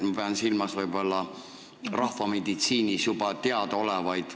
Ma pean silmas rahvameditsiinis juba teadaolevaid.